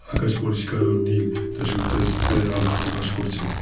আকাশ পরিষ্কার ও নীল যা সূর্যাস্ত্রের আভা প্রকাশ করছে।